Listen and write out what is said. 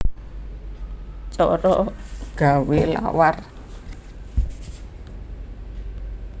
Cara gawé lawar